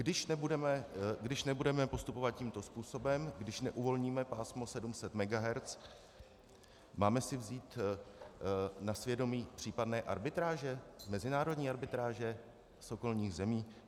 Když nebudeme postupovat tímto způsobem, když neuvolníme pásmo 700 MHz, máme si vzít na svědomí případné arbitráže, mezinárodní arbitráže z okolních zemí?